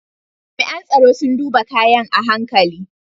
Jami’an tsaro sun duba kayan a hankali.